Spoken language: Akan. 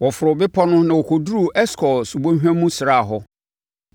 Wɔforoo bepɔ no na wɔkɔduruu Eskol subɔnhwa mu sraa hɔ.